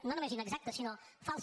no només inexactes sinó falses